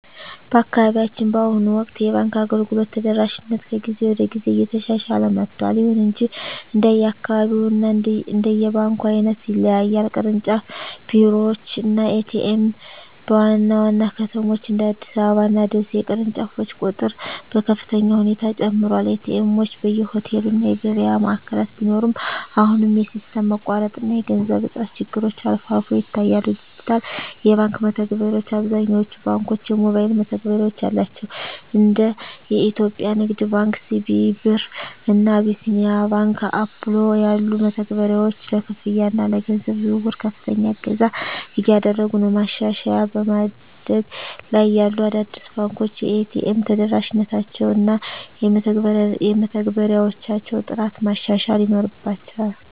በአካባቢያችን በአሁኑ ወቅት የባንክ አገልግሎት ተደራሽነት ከጊዜ ወደ ጊዜ እየተሻሻለ መጥቷል። ይሁን እንጂ እንደየአካባቢው እና እንደ ባንኩ ዓይነት ይለያያል። ቅርንጫፍ ቢሮዎች እና ኤ.ቲ.ኤም (ATM): በዋና ዋና ከተሞች (እንደ አዲስ አበባ እና ደሴ) የቅርንጫፎች ቁጥር በከፍተኛ ሁኔታ ጨምሯል። ኤ.ቲ. ኤምዎች በየሆቴሉ እና የገበያ ማዕከላት ቢኖሩም፣ አሁንም የሲስተም መቋረጥ እና የገንዘብ እጥረት ችግሮች አልፎ አልፎ ይታያሉ። ዲጂታል የባንክ መተግበሪያዎች: አብዛኞቹ ባንኮች የሞባይል መተግበሪያ አላቸው። እንደ የኢትዮጵያ ንግድ ባንክ (CBE Birr) እና አቢሲኒያ ባንክ (Apollo) ያሉ መተግበሪያዎች ለክፍያ እና ለገንዘብ ዝውውር ከፍተኛ እገዛ እያደረጉ ነው። ማሻሻያ በማደግ ላይ ያሉ አዳዲስ ባንኮች የኤ.ቲ.ኤም ተደራሽነታቸውን እና የመተግበሪያዎቻቸውን ጥራት ማሻሻል ይኖርባ